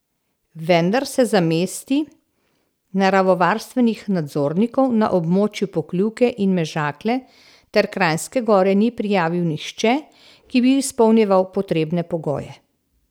Vendar se za mesti naravovarstvenih nadzornikov na območju Pokljuke in Mežakle ter Kranjske Gore ni prijavil nihče, ki bi izpolnjeval potrebne pogoje.